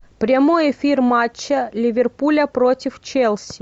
прямой эфир матча ливерпуля против челси